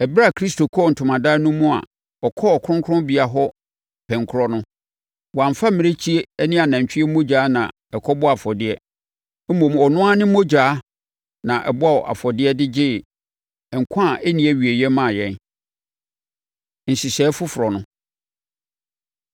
Ɛberɛ a Kristo kɔɔ ntomadan no mu a ɔkɔɔ Kronkronbea hɔ pɛnkorɔ no, wamfa mmirekyie ne anantwie mogya na ɛkɔbɔɔ afɔdeɛ. Mmom, ɔno ara de ne mogya na ɛbɔɔ afɔdeɛ de gyee nkwa a ɛnni awieeɛ maa yɛn. Nhyehyɛeɛ Foforɔ No